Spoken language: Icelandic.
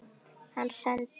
Hann sendi